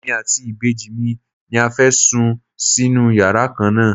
Èmi àti ìbejì mi ni a fẹ́ sùn sínú yàrá kan náà.